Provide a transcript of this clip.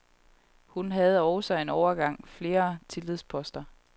Hun havde også en overgang flere tillidsposter.